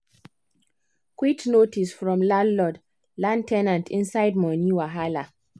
quit notice from landlord land ten ant inside money wahala